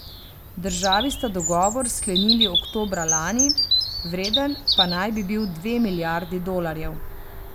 Državi sta dogovor sklenili oktobra lani, vreden pa naj bi bil dve milijardi dolarjev.